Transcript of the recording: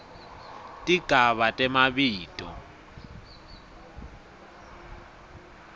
tigaba temabito